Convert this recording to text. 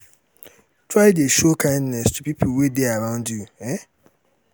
try de show kindness to pipo wey de arround you um